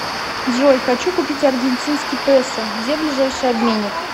джой хочу купить аргентинский песо где ближайший обменник